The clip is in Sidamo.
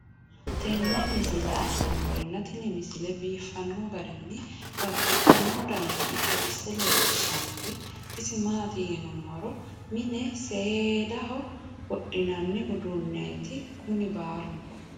tenne misile aana noorina tini misile biiffanno garinni babaxxinno daniinni xawisse leelishanori isi maati yinummoro mine seedaho wodhinanni uduunnetti kunni baallunku